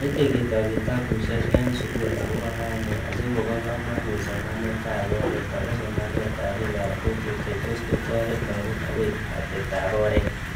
meche ketoy kitabushek eng sugul agoba kaine asigobo kamanuut somaneetab oret ago somanetab biikap kokwet chetos kotoret lagook ago ateptap oret